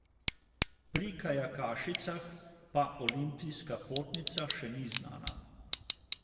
Pri kajakašicah pa olimpijska potnica še ni znana.